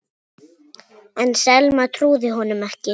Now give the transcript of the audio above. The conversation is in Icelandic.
En Selma trúði honum ekki.